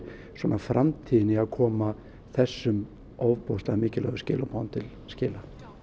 framtíðin í að koma þessum ofboðslega mikilvægum skilaboðum til skila